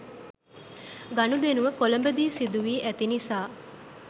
ගනුදෙනුව කොළඹ දී සිදුවී ඇති නිසා